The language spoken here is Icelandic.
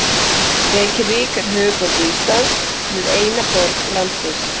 Reykjavík er höfuðborg Íslands. Hún er eina borg landsins.